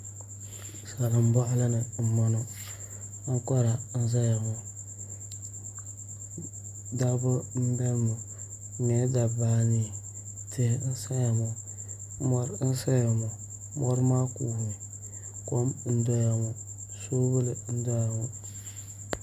Salin boɣali ni n boŋo ankora n ʒɛya ŋo dabba n biɛno ŋo bi nyɛla dabba anii tihi n saya ŋo mori n saya ŋo mori maa kuumi kom n doya ŋo soobuli n doya ŋo